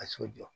Ka so jɔ